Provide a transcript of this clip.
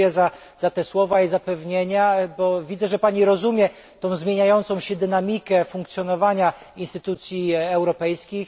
Dziękuję za słowa i zapewnienia, bo widzę, że pani rozumie zmieniającą się dynamikę funkcjonowania instytucji europejskich.